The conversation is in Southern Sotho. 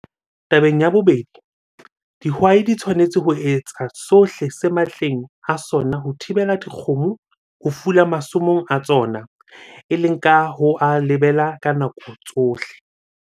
Tabeng ya bobedi, dihwai di tshwanetse ho etsa sohle se matleng a sona ho thibela dikgomo ho fula masomong a tsona, e leng ka ho a lebela ka nako tsohle.